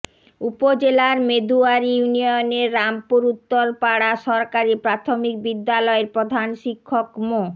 উপজেলার মেদুয়ারী ইউনিয়নের রামপুর উত্তরপাড়া সরকারি প্রাথমিক বিদ্যালয়ের প্রধান শিক্ষক মো